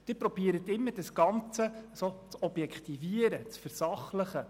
Sie versuchen immer, das Ganze zu objektivieren, zu versachlichen.